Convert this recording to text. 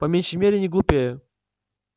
по меньшей мере не глупее